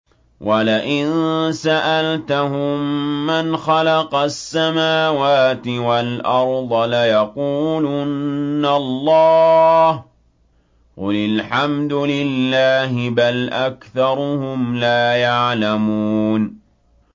وَلَئِن سَأَلْتَهُم مَّنْ خَلَقَ السَّمَاوَاتِ وَالْأَرْضَ لَيَقُولُنَّ اللَّهُ ۚ قُلِ الْحَمْدُ لِلَّهِ ۚ بَلْ أَكْثَرُهُمْ لَا يَعْلَمُونَ